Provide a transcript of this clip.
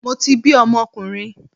Mo ti bi ọmọkùnrin